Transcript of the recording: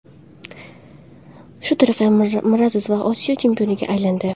Shu tariqa Miraziz ham Osiyo chempioniga aylandi.